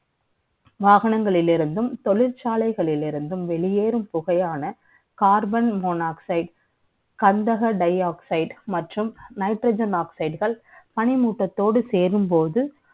வாகனங்களில் இருந்தும் தொழிற்சாலைகளில் இருந்தும் வெளியேறும் புகையான Carbon monoxideKanda ka dialogues மற்றும் nitrogen oxide பனிமூட்டத்தோடு சேரும்போது